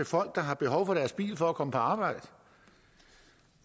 folk der har behov for deres bil for at komme på arbejde